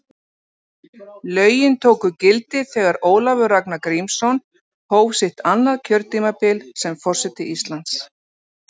Lögin tóku gildi þegar Ólafur Ragnar Grímsson hóf sitt annað kjörtímabil sem forseti Íslands.